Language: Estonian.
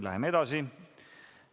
Läheme edasi.